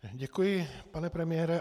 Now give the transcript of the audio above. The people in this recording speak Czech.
Děkuji, pane premiére.